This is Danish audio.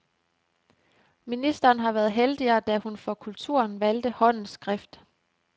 Ministeren har været heldigere, da hun for kulturen valgte håndens skrift.